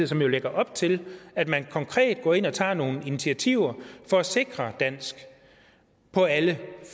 som jo lægger op til at man konkret går ind og tager nogle initiativer for at sikre dansk på alle